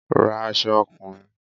Ra aṣọ ọkùnrin!